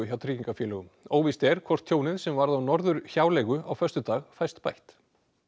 hjá tryggingafélögum óvíst er hvort tjónið sem varð á Norðurhjáleigu á föstudag fæst bætt